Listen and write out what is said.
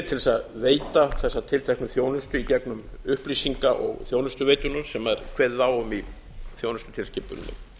til að veita þessa tilteknu þjónustu í gegnum upplýsinga og þjónustuveiturnar sem kveðið er á um í þjónustutilskipuninni